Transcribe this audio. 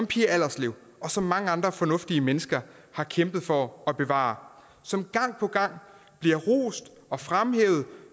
pia allerslev og som mange andre fornuftige mennesker har kæmpet for at bevare og som gang på gang bliver rost og fremhævet